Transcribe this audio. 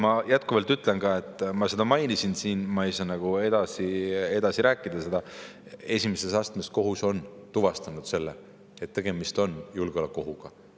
Ma jätkuvalt ütlen ka – ma seda juba mainisin ja ma rohkem sellest rääkida ei saa –, et esimese astme kohus on tuvastanud, et tegemist on julgeolekuohuga.